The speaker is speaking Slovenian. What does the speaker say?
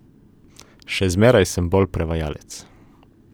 Še zmeraj sem bolj prevajalec.